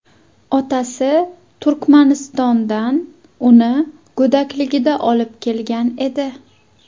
Otasi Turkmanistondan uni go‘dakligida olib kelgan edi.